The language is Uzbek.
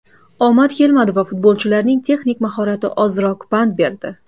Omad kelmadi va futbolchilarning texnik mahorati ozroq pand berdi.